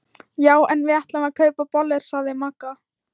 Já en við ætlum að kaupa bollur sagði Magga.